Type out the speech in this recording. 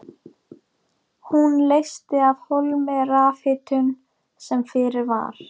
Hún leysti af hólmi rafhitun sem fyrir var.